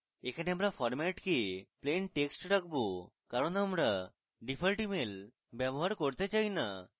এখানে আবার format কে plain text রাখবো কারণ আমরা ডিফল্ট email ব্যবহার করতে চাই না